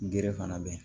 Gere fana be yen